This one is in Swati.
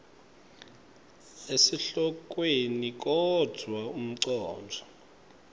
esihlokweni kodvwa umcondvo